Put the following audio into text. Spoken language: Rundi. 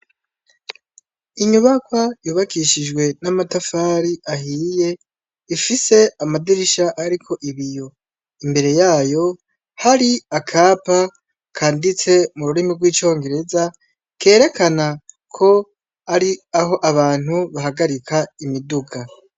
Inyubakwa yubakishijwe n'amatafari ahiye, ifise amadirisha ariko ibiyo imbere yayo hari akapa kanditse mururimi rw'icongereza kerekana ko ari aho abantu bahagarika imiduga.